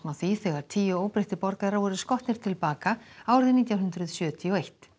á því þegar tíu óbreyttir borgarar voru skotnir til bana árið nítján hundruð sjötíu og eitt